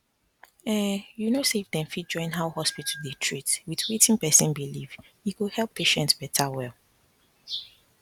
ehnnn you know say if dem fit join how hospital dey treat with wetin person believe e go help patient beta well